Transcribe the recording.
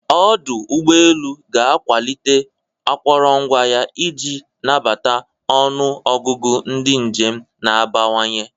Ọdụ ụgbọ elu ga-akwalite akụrụngwa ya iji nabata ọnụ ọgụgụ ndị njem na-abawanye.